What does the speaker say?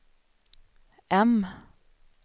M